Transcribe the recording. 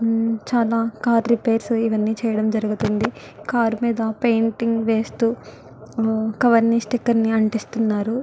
చాల car repair ఇవని చేయడం జేరుగుతుంది కార్ మీద పెయింటింగ్ వేస్తు కవర్ ని స్టికర్ ని అతికిస్తున్నారు.